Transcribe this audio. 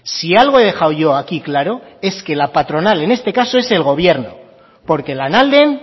si algo he dejado yo aquí claro es que la patronal en este caso es el gobierno porque lanalden